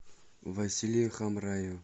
василий хамраев